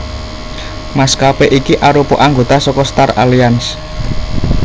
Maskapé iki arupa anggota saka Star Alliance